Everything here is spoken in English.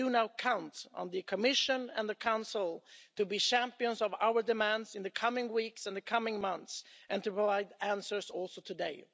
We now count on the Commission and the Council to be champions of our demands in the coming weeks and the coming months and to provide answers also today